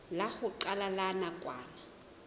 la ho qala la nakwana